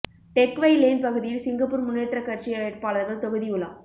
tech Whye Lane பகுதியில் Singapore முன்னேற்றக் கட்சி வேட்பாளர்கள் தொகுதி உலா